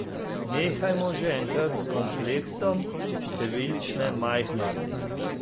Nehajmo že enkrat s kompleksom številčne majhnosti.